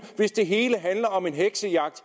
hvis det hele handler om en heksejagt